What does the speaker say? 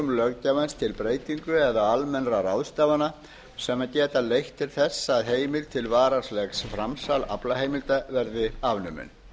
löggjafans til breytinga eða almennra ráðstafana sem geta leitt til þess að heimild til varanlegs framsals aflaheimilda verði afnumin